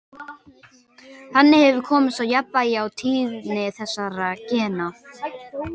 Þannig hefur komist á jafnvægi á tíðni þessara gena.